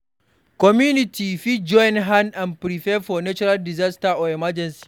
Community fit join hand to prepare for natural disaster or emergency